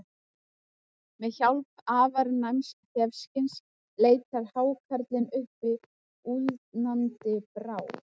Með hjálp afar næms þefskyns leitar hákarlinn uppi úldnandi bráð.